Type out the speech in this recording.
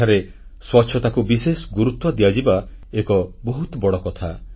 ସେଠାରେ ସ୍ୱଚ୍ଛତାକୁ ବିଶେଷ ଗୁରୁତ୍ୱ ଦିଆଯିବା ଏକ ବହୁତ ବଡ଼ କଥା